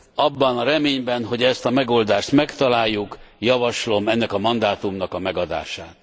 Abban a reményben, hogy ezt a megoldást megtaláljuk, javaslom ennek a mandátumnak a megadását.